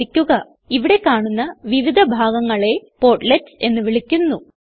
ശ്രദ്ധിക്കുക ഇവിടെ കാണുന്ന വിവിധ ഭാഗങ്ങളെ പോർട്ട്ലെറ്റ്സ് എന്ന് വിളിക്കുന്നു